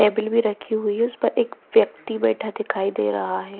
Table भी रखी हुई है उसपर एक व्यक्ति बैठा दिखाई दे रहा है।